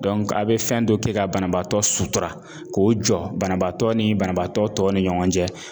a bɛ fɛn dɔ kɛ ka banabaatɔ sutura k'o jɔ banabaatɔ ni banabaatɔ tɔw ni ɲɔgɔn cɛ